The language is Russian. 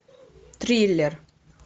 триллер